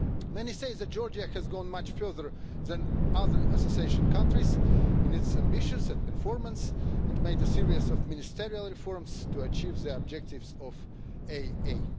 Many say that Georgia has gone much further than other association countries in its ambitions and performance, and has made a series of ministerial reforms to achieve the objectives of the AA.